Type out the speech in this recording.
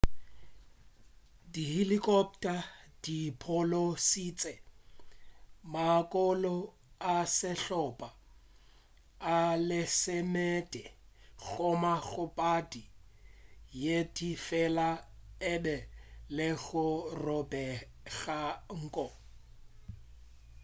dihilikhopta di phološitše maloko a sehlopa a lesomepedi gomme kgobadi ye tee fela e be e le go robega nko